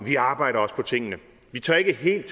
vi arbejder også på tingene vi tør ikke helt